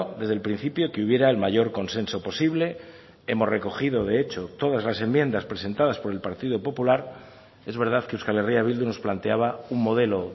desde el principio que hubiera el mayor consenso posible hemos recogido de hecho todas las enmiendas presentadas por el partido popular es verdad que euskal herria bildu nos planteaba un modelo